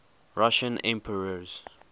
russian emperors